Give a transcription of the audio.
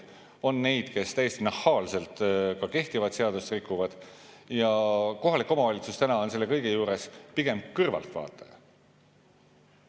On inimesi, kes täiesti nahaalselt kehtivat seadust rikuvad, ja kohalik omavalitsus on selle kõige juures pigem kõrvaltvaataja.